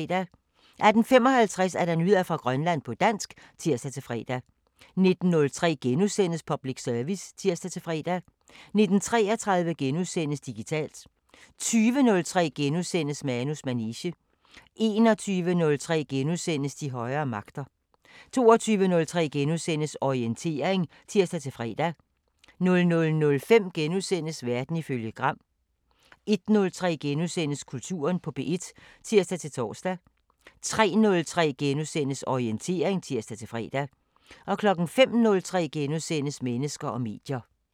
18:55: Nyheder fra Grønland på dansk (tir-fre) 19:03: Public Service *(tir-fre) 19:33: Digitalt * 20:03: Manus manege * 21:03: De højere magter * 22:03: Orientering *(tir-fre) 00:05: Verden ifølge Gram * 01:03: Kulturen på P1 *(tir-tor) 03:03: Orientering *(tir-fre) 05:03: Mennesker og medier *